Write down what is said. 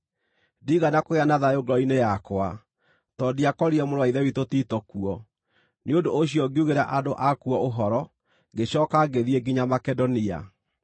ndiigana kũgĩa na thayũ ngoro-inĩ yakwa, tondũ ndiakorire mũrũ-wa-Ithe witũ Tito kuo. Nĩ ũndũ ũcio ngiugĩra andũ akuo ũhoro, ngĩcooka ngĩthiĩ nginya Makedonia.